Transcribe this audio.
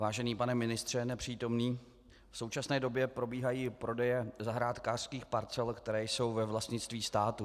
Vážený pane ministře nepřítomný, v současné době probíhají prodeje zahrádkářských parcel, které jsou ve vlastnictví státu.